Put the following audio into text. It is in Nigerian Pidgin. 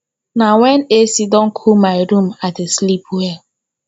na wen ac don cool my room i dey sleep well